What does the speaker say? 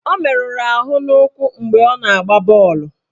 Ọ meruru ahụ n'ụkwụ mgbe ọ na-agba bọọlụ.